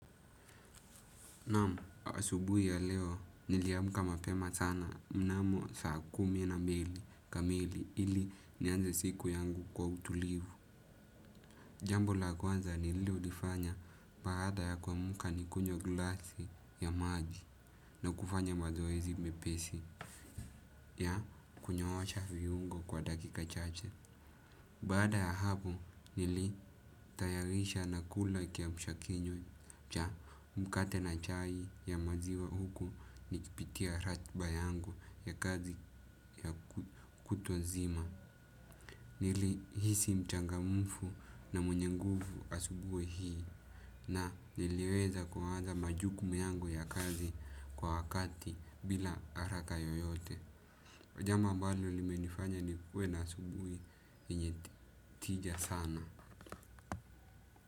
Naam asubuhi ya leo niliamka mapema sana mnamo saa kumi na mbili kamili ili nianze siku yangu kwa utulivu. Jambo la kwanza nililolifanya baada ya kuamka ni kunywa glasi ya maji na kufanya mazoezi mepesi ya kunyoosha viungo kwa dakika chache. Baada ya hapo nilitayarisha na kula kiamsha kinywa cha mkate na chai ya maziwa huku nikipitia ratiba yangu ya kazi ya kutu nzima. Nilihisi mchangamufu na mwenye nguvu asubuhi hii na niliweza kuanza majukumu yangu ya kazi kwa wakati bila haraka yoyote. Jambo ambalo limenifanya nikuwe na asubuhi yenye tija sana.